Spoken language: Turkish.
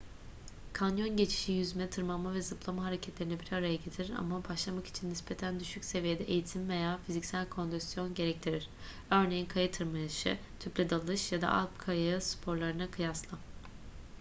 kanyon geçişi; yüzme tırmanma ve zıplama hareketlerini bir araya getirir ama başlamak için nispeten düşük seviyede eğitim veya fiziksel kondisyon gerektirir örneğin kaya tırmanışı tüple dalış ya da alp kayağı sporlarına kıyasla